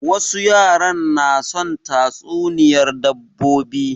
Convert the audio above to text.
Wasu yaran na son tatsuniyar dabbobi